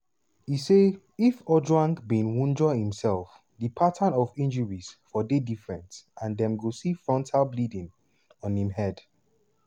e say if ojwang bin wunjure imsef di pattern of injuries for dey different and dem go see frontal bleeding on im head.